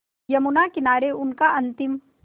यमुना किनारे उनका अंतिम